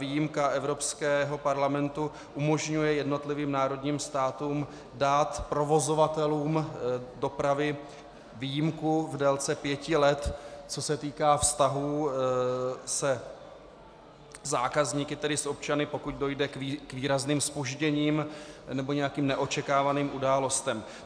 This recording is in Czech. Výjimka Evropského parlamentu umožňuje jednotlivým národním státům dát provozovatelům dopravy výjimku v délce pěti let, co se týká vztahů se zákazníky, tedy s občany, pokud dojde k výrazným zpožděním nebo nějakým neočekávaným událostem.